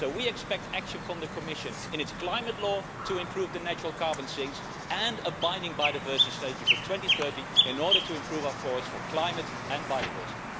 So we expect action from the Commission in its climate law to improve the natural carbon sinks and a binding biodiversity strategy for 2030 in order to improve our forests for climate and biodiversity.